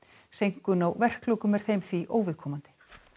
seinkun á verklokum er þeim því óviðkomandi